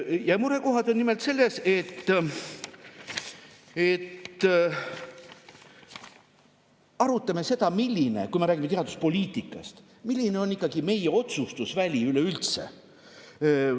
Ja murekohad on nimelt selles, et kui me räägime teaduspoliitikast, siis me arutame seda, milline on ikkagi meie otsustusväli üleüldse.